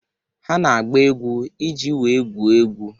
Ha na-agba egwu iji wee gwuo egwu.